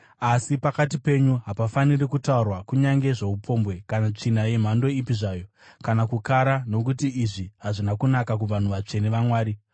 Asi pakati penyu hapafaniri kutaurwa kunyange zvoupombwe, kana tsvina yemhando ipi zvayo, kana kukara, nokuti izvi hazvina kunaka kuvanhu vatsvene vaMwari.